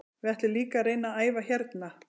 Við ætlum líka að reyna að æfa hérna.